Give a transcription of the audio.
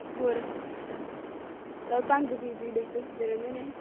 ਹੋਰ ਚਲ ਭੰਗ ਪੀ ਪੀ ਡਿਗਦੇ ਫਿਰਦੇ ਰਹਿੰਦੇ ਨੇ